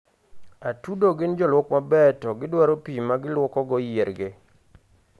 atudo gin joluok maber to gidwaro pii magiluokogo yiergi